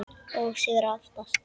Og sigrar oftast.